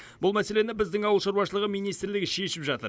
бұл мәселені біздің ауыл шаруашылығы министрлігі шешіп жатыр